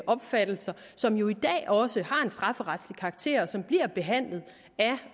opfattelser som jo også har en strafferetlig karakter og som bliver behandlet af